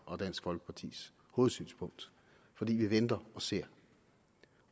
og dansk folkepartis hovedsynspunkt for vi venter og ser